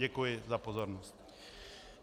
Děkuji za pozornost.